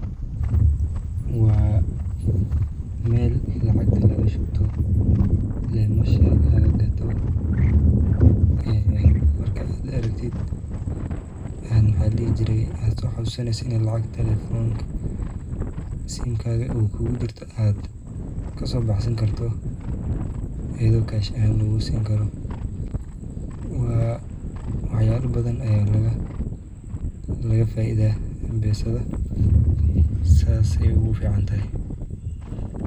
Waa Mel lacagta laga shubto, leemasha laga gato ee markad ad aragtid ee maxa ladhihi jire ad soo xasuusani lacag taleefonka sinkaga uu kugu jirto ad kaso baxsan karto ayado cash ahan lugugu sini karo, waa wax yala badan aya laga faa'iidaya mpesada, sas ayay ogu fican tahay